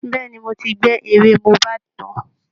Bẹ́ẹ̀ ni, mo ti gbẹ́ èrè mohbad tán